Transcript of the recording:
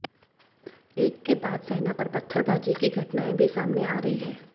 एक के बाद सेना पर पत्थरबाजी की घटनाएं भी सामने आ रही है